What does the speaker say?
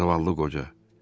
Zavallı qoca.